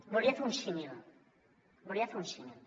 volia fer un símil volia fer un símil